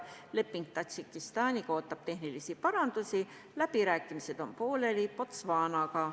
Tadžikistaniga sõlmitav leping ootab tehnilisi parandusi, läbirääkimised on pooleli Botswanaga.